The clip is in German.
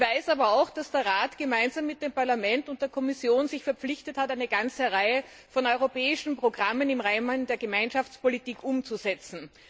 Ich weiß aber auch, dass sich der Rat gemeinsam mit dem Parlament und der Kommission verpflichtet hat, eine ganze Reihe von europäischen Programmen im Rahmen der Gemeinschaftspolitik umzusetzen.